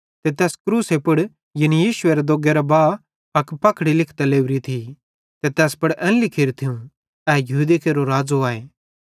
ते तैस क्रूसे पुड़ यानी यीशु एरे दोग्गे करां बहा अक पखड़ी लिखतां लेवरी थी ते तैस पुड़ एन लिखेरू थियूं ए यहूदी केरो राज़ आए